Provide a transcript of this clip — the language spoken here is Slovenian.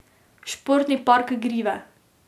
Športni park Grive.